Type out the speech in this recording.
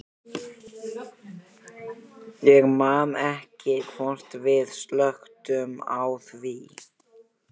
Ég man ekki hvort við slökktum á því.